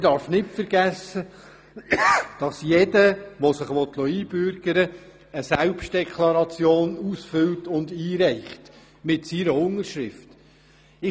Man darf nicht vergessen, dass jeder, der sich einbürgern lassen will, eine Selbstdeklaration ausfüllt und mit seiner Unterschrift versehen einreicht.